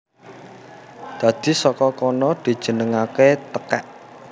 Dadi saka kono dijenengaké tekèk